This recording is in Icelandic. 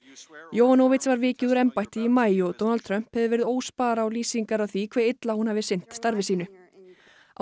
yovanovitch var vikið úr embætti í maí og Donald Trump hefur verið óspar á lýsingar á því hve illa hún hafi sinnt starfi sínu á